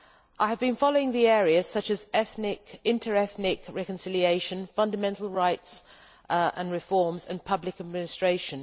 I have been following the areas such as inter ethnic reconciliation, fundamental rights and reforms and public administration.